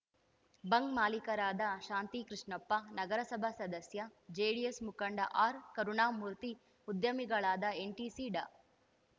bunk ಮಾಲೀಕರಾದ ಶಾಂತಿ ಕೃಷ್ಣಪ್ಪ ನಗರಸಭಾ ಸದಸ್ಯ ಜೆಡಿಎಸ್‌ ಮುಖಂಡ ಆರ್‌ ಕರುಣಾಮೂರ್ತಿ ಉದ್ಯಮಿಗಳಾದ ಎನ್‌ಟಿಸಿ ಡಾ